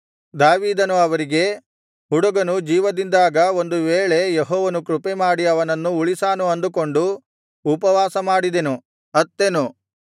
ದಾವೀದನು ಅವರಿಗೆ ಹುಡುಗನು ಜೀವದಿಂದಿದ್ದಾಗ ಒಂದು ವೇಳೆ ಯೆಹೋವನು ಕೃಪೆಮಾಡಿ ಅವನನ್ನು ಉಳಿಸಾನು ಅಂದುಕೊಂಡು ಉಪವಾಸ ಮಾಡಿದೆನು ಅತ್ತೆನು